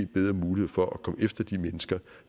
bedre mulighed for at komme efter de mennesker